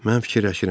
Mən fikirləşirəm.